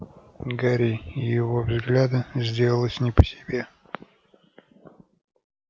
гарри и его взгляда сделалось не по себе